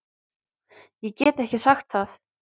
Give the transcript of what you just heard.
Ég get ekki sagt það